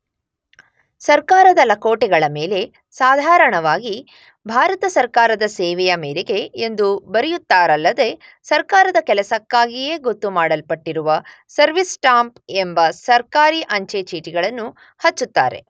ಸರ್ಕಾರದ ಲಕೋಟೆಗಳ ಮೇಲೆ ಸಾಧಾರಣವಾಗಿ ಭಾರತ ಸರ್ಕಾರದ ಸೇವೆಯ ಮೇರೆಗೆ ಎಂದು ಬರೆಯುತ್ತಾರಲ್ಲದೆ ಸರ್ಕಾರದ ಕೆಲಸಕ್ಕಾಗಿಯೇ ಗೊತ್ತುಮಾಡಲ್ಪಟ್ಟಿರುವ ಸರ್ವಿಸ್ ಸ್ಟಾಂಪ್ ಎಂಬ ಸರ್ಕಾರಿ ಅಂಚೆ ಚೀಟಿಗಳನ್ನು ಹಚ್ಚುತ್ತಾರೆ.